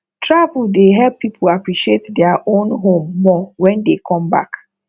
travel dey help pipo appreciate their own home more wen dey come back